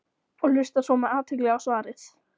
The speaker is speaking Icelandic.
og hlusta svo með athygli á svarið.